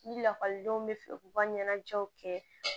Ni lakɔlidenw bɛ fɛ u ka ɲɛnajɛw kɛ